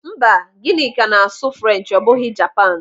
Mba, Gịnịka na-asụ French ọ bụghị Japan.